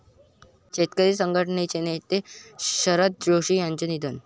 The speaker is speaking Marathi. शेतकरी संघटनेचे नेते शरद जोशी यांचं निधन